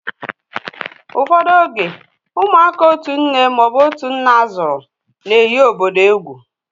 Ụfọdụ oge, ụmụaka otu nne ma ọ bụ otú nne zúru na-eghi obodo egwú